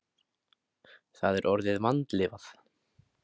Það er orðið vandlifað.